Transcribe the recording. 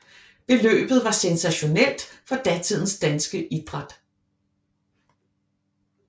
Beløbet var sensationelt for datidens danske idræt